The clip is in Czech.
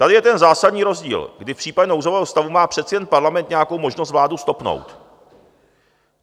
Tady je ten zásadní rozdíl, kdy v případě nouzového stavu má přece jen Parlament nějakou možnost vládu stopnout.